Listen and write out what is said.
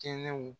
Kɛnɛw